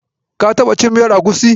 Ka taɓa cin miyar agusi?